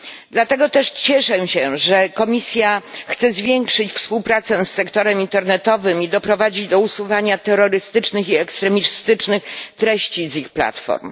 Dlatego też cieszę się, że Komisja chce zwiększyć współpracę z sektorem internetowym i doprowadzić do usuwania terrorystycznych i ekstremistycznych treści z ich platform.